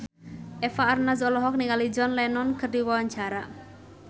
Eva Arnaz olohok ningali John Lennon keur diwawancara